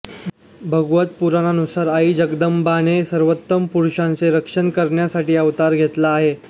भागवत पुराणानुसार आई जगदंबाने सर्वोत्तम पुरुषांचे रक्षण करण्यासाठी अवतार घेतला आहे